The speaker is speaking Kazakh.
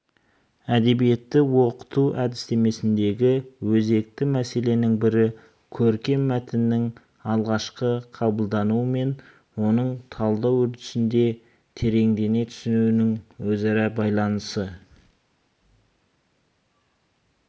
әдебиетті оқыту әдістемесіндегі өзекті мәселенің бірі көркем мәтіннің алғашқы қабылдануы мен оның талдау үрдісінде тереңдене түсуінің өзара байланысы